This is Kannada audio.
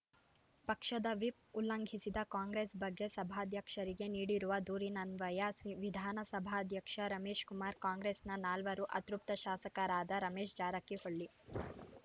ಪಕ್ಷದ ವಿಪ್ ಉಲ್ಲಂಘಿಸಿದ ಕಾಂಗ್ರೆಸ್ ಬಗ್ಗೆ ಸಭಾಧ್ಯಕ್ಷರಿಗೆ ನೀಡಿರುವ ದೂರಿನನ್ವಯ ವಿಧಾನಸಭಾಧ್ಯಕ್ಷ ರಮೇಶ್‌ಕುಮಾರ್ ಕಾಂಗ್ರೆಸ್‌ನ ನಾಲ್ವರು ಅತೃಪ್ತ ಶಾಸಕರಾದ ರಮೇಶ್ ಜಾರಕಿಹೊಳಿ